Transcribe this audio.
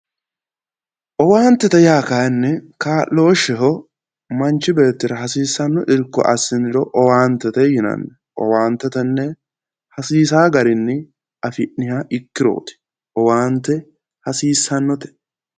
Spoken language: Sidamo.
Owaantete yaa kaayiinni kaa'looshsheho, manchu beettira hassiissanno kaa'lo assiniro owaantete yinanni. owaante tenne hasiisaa garinni afi'nnihabikkirooti. owaante hasiissannote.